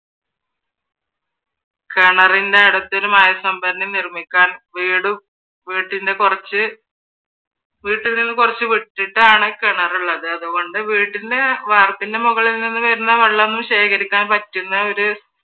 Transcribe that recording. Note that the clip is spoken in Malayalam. കിണറിൻറെ അടുത്തൊരു മഴ സംഭരണി നിർമ്മിക്കാൻ വീടും വീടിൻറെ കുറച്ച് വീട്ടീന്ന് കുറച്ച് വിട്ടിട്ടാണ് കിണറുള്ളത് അതുകൊണ്ട് വീടിൻറെ വാർപ്പിന്റെ മുകളിൽ നിന്ന് വരുന്ന വെള്ളമൊന്നും ശേഖരിക്കാൻ പറ്റുന്ന ഒരു